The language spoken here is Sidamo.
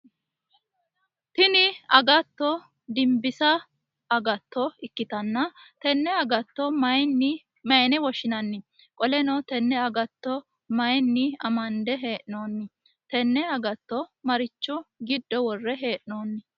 Tinni agatto dimbisa agatto ikitanna tenne agatto mayine woshinnanni? Qoleno tenne agatto mayinni amande hee'noonni? Tenne agatto marichi gido wore hee'noonni?